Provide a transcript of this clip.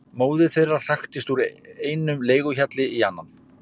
Móðir þeirra hraktist úr einum leiguhjalli í annan.